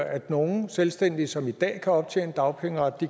at nogle selvstændige som i dag kan optjene dagpengeret